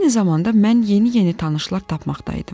Eyni zamanda mən yeni-yeni tanışlar tapmaqdaydım.